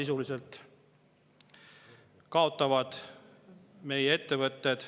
Sellest kaotavad meie ettevõtted.